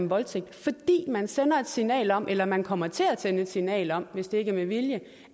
voldtægt fordi man sender et signal om eller man kommer til at sende et signal om hvis det ikke er med vilje